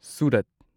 Surat